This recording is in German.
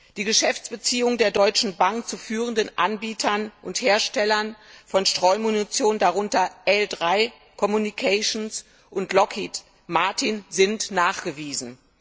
Die Geschäftsbeziehungen der Deutschen Bank zu führenden Anbietern und Herstellern von Streumunition, darunter L 3 Communications und Lockheed Martin, sind nachgewiesen.